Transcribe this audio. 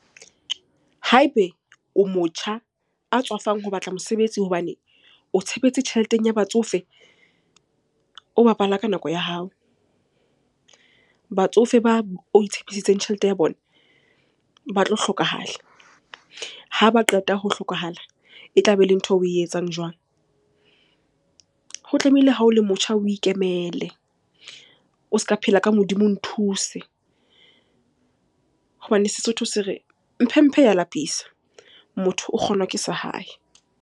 Ha ebe o motjha a tswafang ho batla mosebetsi hobane o tshepetse tjheleteng ya batsofe, o bapala ka nako ya hao. Batsofe bao o itshepisitseng tjhelete ya bona, ba tlo hlokahala. Ha ba qeta ho hlokahala e tlabe e le ntho eo o e etsang jwang? Ho tlamehile ha o le motjha o ikemele. O se ka phela ka modimo o nthuse hobane Sesotho se re, mphe mphe ya lapisa, motho o kgonwa ke sa hae.